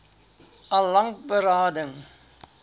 al lank berading